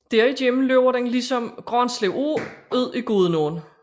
Derigennem løber den ligesom Granslev Å ud i Gudenåen